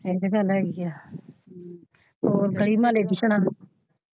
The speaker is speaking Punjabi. ਮੈਨੂੰ ਕਹਿੰਦਾ ਲੈ ਹੀ ਗਿਆ ਹਮ ਹੋਰ ਗਲੀ ਮੋਹਾਲੇ ਨੇ ਪੁੱਛਣਾ।